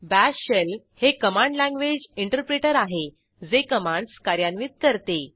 bash shell हे command language interpreter आहे जे कमांडस कार्यान्वित करते